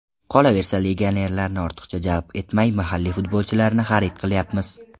Qolaversa, legionerlarni ortiqcha jalb etmay mahalliy futbolchilarni xarid qilyapmiz.